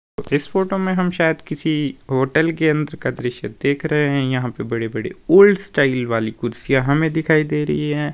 इस फोटो में हम शायद किसी होटल के अंदर का दृश्य देख रहे हैं यहां पे बड़ी बड़ी ओल्ड स्टाइल वाली कुर्सियां हमें दिखाई दे रही हैं।